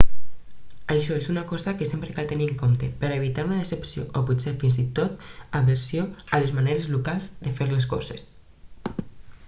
això és una cosa que sempre cal tenir en compte per a evitar una decepció o potser fins i tot aversió a les maneres locals de fer les coses